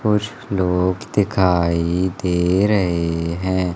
कुछ लोग दिखाई दे रहे हैं।